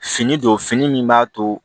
Fini don fini min b'a to